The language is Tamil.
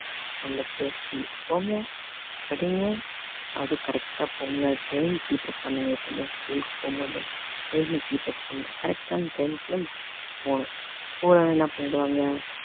நல்லபடியா school க்கு போங்க படிங்க அதுவும் correct ஆ போங்க time keep up பண்ணுங்க எப்பவுமே school க்கு போகும்போது time அ keep up பண்ணனும் correct ஆன time க்குலாம் போகணும் போகலான என்ன பண்ணிடுவாங்க